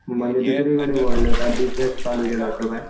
म्हणजे दुसरीकडे वळले काय बिजनेस चालू केला असं काय?